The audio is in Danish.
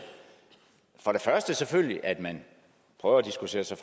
for det første selvfølgelig at man prøver at diskutere sig